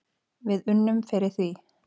Við unnum fyrir því.